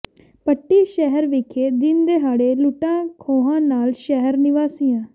ਪੱਟੀ ਸ਼ਹਿਰ ਵਿਖੇ ਦਿਨ ਦਿਹਾੜੇ ਲੁੱਟਾਂ ਖੋਹਾਂ ਨਾਲ ਸ਼ਹਿਰ ਨਿਵਾਸੀਆਂ